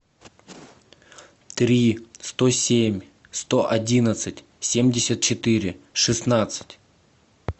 три сто семь сто одиннадцать семьдесят четыре шестнадцать